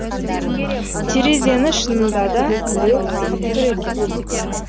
терезені шынында да біреу қағып тұр екен